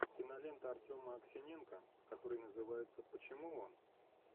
кинолента артема аксиненко которая называется почему он